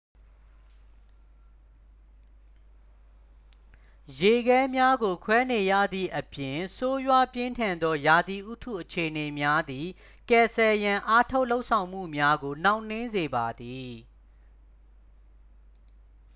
ရေခဲများကိုခွဲနေရသည့်အပြင် ဆိုးရွားပြင်းထန်သောရာသီဥတုအခြေအနေများသည် ကယ်ဆယ်ရန်အားထုတ်လုပ်ဆောင်မှုများကို နှောင့်နှေးစေပါသည်